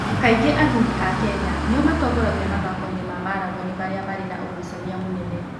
Kaingĩ athuri a Kenya nĩo matongoragia mathako-inĩ ma marathoni marĩa marĩ na ũgucania mũnene.